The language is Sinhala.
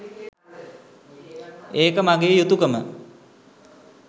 ඒක මගේ යුතුකම.